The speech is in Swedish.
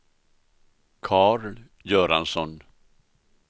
Karl Göransson